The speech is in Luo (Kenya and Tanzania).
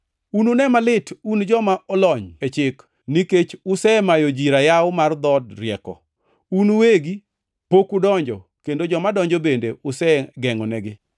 “Unune malit un joma olony e chik, nikech usemayo ji rayaw mar dhood rieko. Un uwegi pok udonjo kendo joma donjo bende usegengʼonegi.”